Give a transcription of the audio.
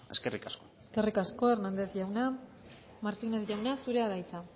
eskerrik asko eskerrik asko hernandez jauna martinez jauna zurea da hitza